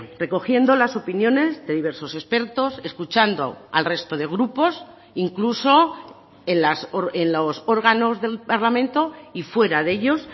recogiendo las opiniones de diversos expertos escuchando al resto de grupos incluso en los órganos del parlamento y fuera de ellos